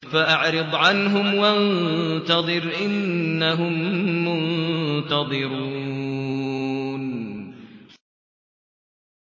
فَأَعْرِضْ عَنْهُمْ وَانتَظِرْ إِنَّهُم مُّنتَظِرُونَ